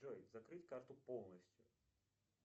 джой закрыть карту полностью